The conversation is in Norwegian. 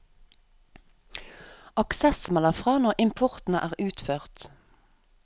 Access melder fra når importen er utført.